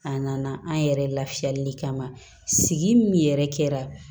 A nana an yɛrɛ lafiyali kama sigi min yɛrɛ kɛra